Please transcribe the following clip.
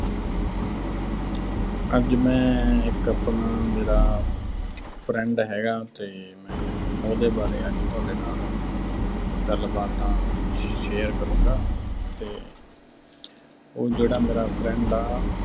ਅੱਜ ਮੈਂ ਇੱਕ ਅਹ ਮੇਰਾ friend ਹੈਗਾ, ਤੇ ਮੈਂ ਉਹਦੇ ਬਾਰੇ ਅੱਜ ਤੁਹਾਡੇ ਨਾਲ ਗੱਲਾਂ ਬਾਤਾਂ share ਕਰੂੰਗਾ। ਤੇ ਉਹ ਜਿਹੜਾ ਮੇਰਾ friend ਆ